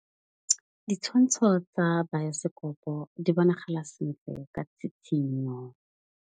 Ditshwantshô tsa biosekopo di bonagala sentle ka tshitshinyô.